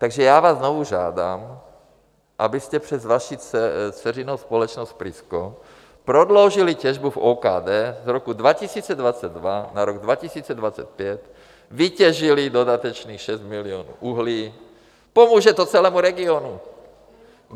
Takže já vás znovu žádám, abyste přes vaši dceřinou společnost Prisko prodloužili těžbu v OKD z roku 2022 na rok 2025, vytěžili dodatečných 6 milionů uhlí, pomůže to celému regionu.